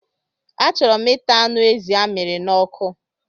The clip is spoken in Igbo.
A chọrọ m ịta anụ ezi a miri n'ọkụ.